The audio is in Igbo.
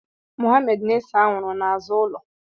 Mohammed na-ese anwụrụ n'azụ ụlọ.